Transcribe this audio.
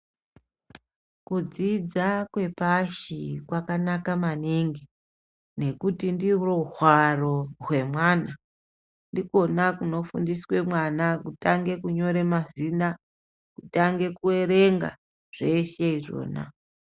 Kudzidza kwepashi kwakanaka maningi ngekuti ndiro hwaro hwemwana. Ndikona kunofundiswe mwana, kutange kunyore mazina, kutange kuerenga, zvona izvozvo.